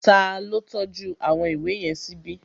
Ta ló tọ́jú àwọn ìwé yẹn síbi?